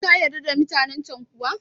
Kai kayarda da mutanen can kuwa?